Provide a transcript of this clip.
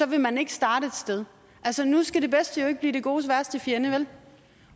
vil man ikke starte et sted altså nu skal det bedste jo ikke blive det godes værste fjende